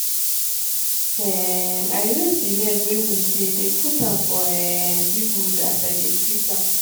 um i raise the leg wey wound dey dey put am for um big wood as i dey treat am